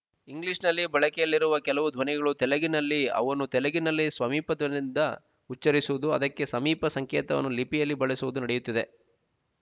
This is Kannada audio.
ಇಂಗ್ಲೀಷ್ ನಲ್ಲಿ ಬಳಕೆಯಲ್ಲಿರುವ ಕೆಲವು ಧ್ವನಿಗಳು ತೆಲಗಿನಲ್ಲಿ ಅವನ್ನು ತೆಲಗಿನಲ್ಲಿ ಸ್ವಮಿಪಧ್ವನಿಯಿಂದ ಉಚ್ಚರಿಸುವುದು ಅದಕ್ಕೆ ಸಮೀಪ ಸಂಕೇತವನ್ನು ಲಿಪಿಯಲ್ಲಿ ಬಳಸುವುದು ನಡೆಯುತ್ತಿದೆ